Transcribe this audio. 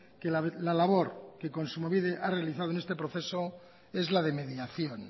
que la labor que kontsumobide ha realizado en este proceso es la de mediación